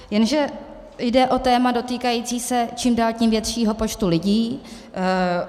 Jenže jde o téma dotýkající se čím dál tím většího počtu lidí.